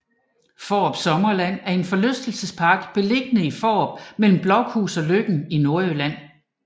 Fårup Sommerland er en forlystelsespark beliggende i Fårup mellem Blokhus og Løkken i Nordjylland